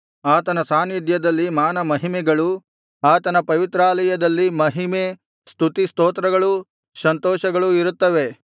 ಆತನ ಸಾನ್ನಿಧ್ಯದಲ್ಲಿ ಮಾನ ಮಹಿಮೆಗಳು ಆತನ ಪವಿತ್ರಾಲಯದಲ್ಲಿ ಮಹಿಮೆ ಸ್ತುತಿಸ್ತೋತ್ರಗಳು ಸಂತೋಷಗಳೂ ಇರುತ್ತವೆ